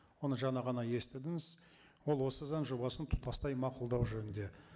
оны жаңа ғана естідіңіз ол осы заң жобасын тұтастай мақұлдау жөнінде